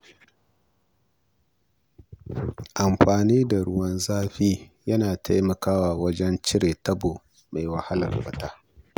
Amfani da ruwan zafi yana taimakawa wajen cire taɓo mai wahalar fita.